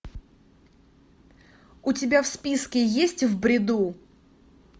у тебя в списке есть в бреду